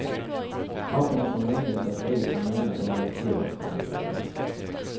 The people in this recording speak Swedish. Papporna får möjlighet att ta ut sin månad under en sjuårsperiod.